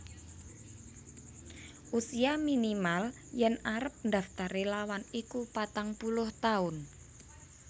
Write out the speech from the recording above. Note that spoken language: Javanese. Usia minimal yen arep ndaftar relawan iku patang puluh taun